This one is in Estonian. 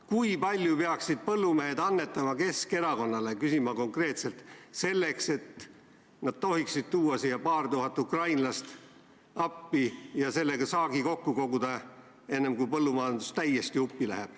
Kui palju peaksid põllumehed annetama Keskerakonnale, küsin ma konkreetselt, selleks et nad tohiksid tuua paar tuhat ukrainlast appi ja saagi kokku koguda, enne kui põllumajandus täiesti uppi läheb.